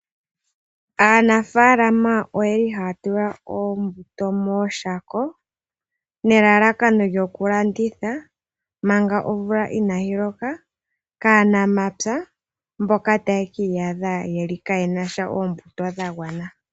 Aanafaalama oyeli haya tula oombuto mooshako nelalakano lyokulanditha manga omvula inaayi loka kaanamapya mboka taye kiiyadha kaaye na oombuto dhagwana.